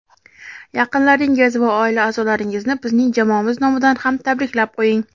Yaqinlaringiz va oila a’zolaringizni bizning jamoamiz nomidan ham tabriklab qo‘ying.